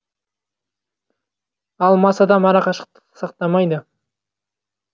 ал мас адам ара қашықтықты сақтамайды